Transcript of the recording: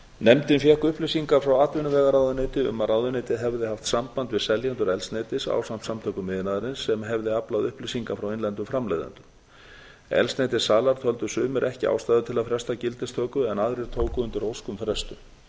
nefndin fékk upplýsingar frá atvinnuvegaráðuneyti um að ráðuneytið hefði haft samband við seljendur eldsneytis ásamt samtökum iðnaðarins sem hefði aflað upplýsinga frá innlendum framleiðendum eldsneytissalar töldu sumir ekki ástæðu til að fresta gildistöku en aðrir tóku undir ósk um frestun